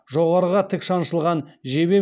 жоғарыға тік шаншылған жебе